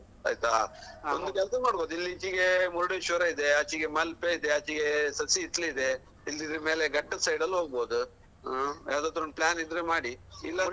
ಆಯ್ತಾ ಒಂದು ಕೆಲ್ಸ ಮಾಡುವ ಇಲ್ಲಿ ಇಚಿಗೆ ಮುರ್ಡೇಶ್ವರ ಇದೆ ಆಚಿಗೆ ಮಲ್ಪೆ ಇದೆ ಆಚಿಗೆ ಶಶಿ ಹಿತ್ಲಿದೆ ಇಲ್ಲಿದ್ರೆ ಮೇಲೆ ಘಟ್ಟಾ side ಲ್ಲೂ ಹೋಗ್ಬಹುದು ಹಾ ಯಾವ್ದಾದ್ರೊಂದು plan ಇದ್ರೆ ಮಾಡಿ ಇಲ್ಲಾದ್ರೆ.